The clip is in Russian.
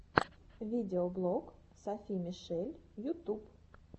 видеоблог софи мишель ютуб